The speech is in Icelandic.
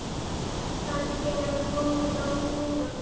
Kannski er hann kominn í gang núna?